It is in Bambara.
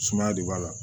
Sumaya de b'a la